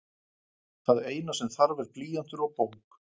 Það eina sem þarf er blýantur og bók.